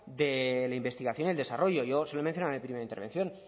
de la investigación y el desarrollo yo se lo he mencionado en mi primera intervención